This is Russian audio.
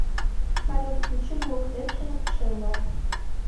салют включи блок экшен ченнэл